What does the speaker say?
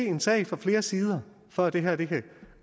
en sag fra flere sider for at det her kan